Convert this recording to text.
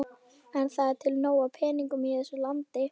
En það er til nóg af peningum í þessu landi.